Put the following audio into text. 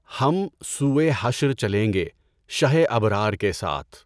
ہم سوئے حشر چلیں گے شہِ ابرار کے ساتھ